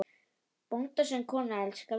Bónda sinn konan elskar víst.